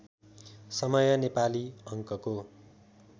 समय नेपाली अङ्कको